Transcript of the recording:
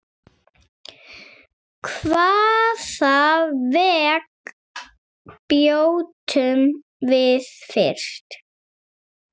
Hvaða vegg brjótum við fyrst?